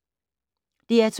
DR2